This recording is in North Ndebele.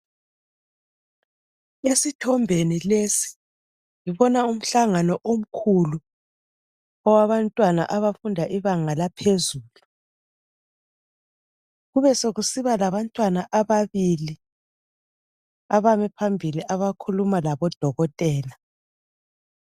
Esithombeni lesi ngibona umhlangano omkhulu owabantwana abafunda ibanga laphezulu ,kube sokusiba labantwana ababili abame phambili abakhuluma labodokotela